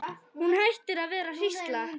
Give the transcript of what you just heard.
Hún hættir að vera hrísla.